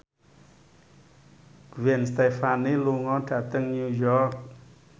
Gwen Stefani lunga dhateng New York